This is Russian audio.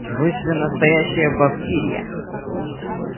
вы же настоящая бавкирия